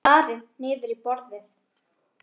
Hann starir niður í borðið.